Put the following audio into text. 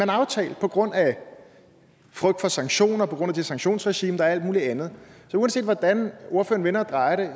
aftalt på grund af frygt for sanktioner altså på grund af det sanktionsregime der er mulig andet så uanset hvordan ordføreren vender og drejer det